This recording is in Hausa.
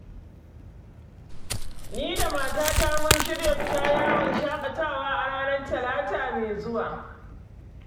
Ni da matata mun shirya fita yawon shaƙatawa a ranar Talata mai zuwa.